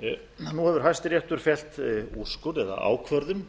nú hefur hæstiréttur fellt úrskurð eða ákvörðun